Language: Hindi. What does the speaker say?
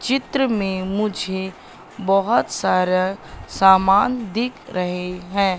चित्र में मुझे बहोत सारा सामान दिख रहे हैं।